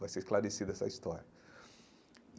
Vai ser esclarecida essa história.